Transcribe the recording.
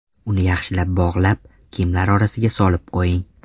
Uni yaxshilab bog‘lab, kiyimlar orasiga solib qo‘ying.